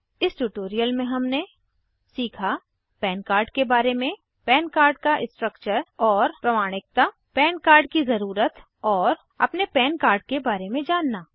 इस ट्यूटोरियल में हमने सीखा PAN कार्ड के बारे में PAN कार्ड का स्ट्रक्चर और प्रमाणिकता PAN कार्ड की ज़रूरत और अपने पन कार्ड के बारे में जानना